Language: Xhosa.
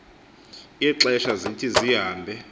ixesha zithi zihambe